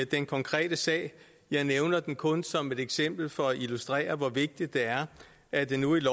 den konkrete sag jeg nævner den kun som et eksempel for at illustrere hvor vigtigt det er at det nu i